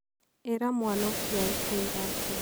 ĩra mwana ũcio arute iraatũ